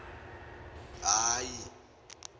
ahi